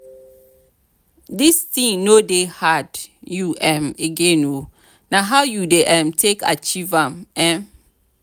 dis thing no dey hard you um again oo na how you dey um take achieve am? um